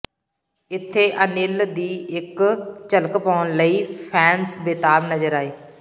ਇੱਥੇ ਅਨਿਲ ਦੀ ਇੱਕ ਝਕਲ ਪਾਉਣ ਲਈ ਫੈਨਸ ਬੇਤਾਬ ਨਜ਼ਰ ਆਏ